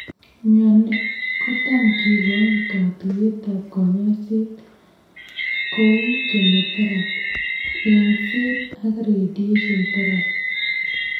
Mionil kotam kikoin katuiyet ab kanyoiseet kouu chemoteraphy, eng'set ak radiation teraphy